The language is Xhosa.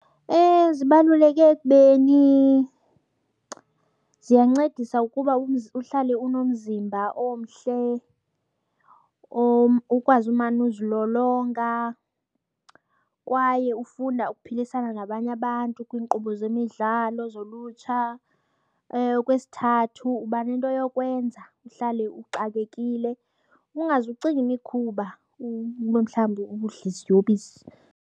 Zibaluleke ekubeni ziyancedisa ukuba uhlale unomzimba omhle or ukwazi umane uzilolonga kwaye ufunda uphilisana nabanye abantu kwiinkqubo zemidlalo zolutsha. Okwesithathu uba nento yokwenza uhlale uxakekile, ungaze ucinga imikhuba uba mhlawumbi udle iziyobisi.